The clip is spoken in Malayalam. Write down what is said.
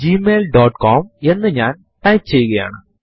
ഇതുമായി ബന്ധപ്പെട്ട മറ്റൊരു കമാൻഡ് കാൽ ആണ്